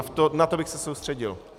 A na to bych se soustředil.